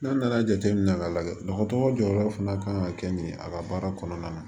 N'a nana jateminɛ ka lajɛ dɔgɔtɔrɔ jɔyɔrɔ fana kan ka kɛ nin ye a ka baara kɔnɔna na